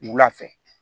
Wula fɛ